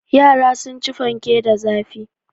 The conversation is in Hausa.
Yara sun ci fanke da zafi.